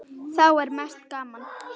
Þá er mest gaman.